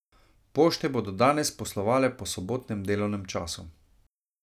Pošte bodo danes poslovale po sobotnem delovnem času.